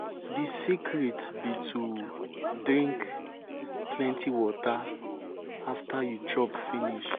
the secret be to drink plenty water after you chop finish.